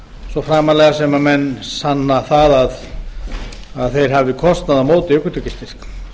svo framarlega sem menn sanna það að þeir hafi kostnað á móti ökutækjastyrk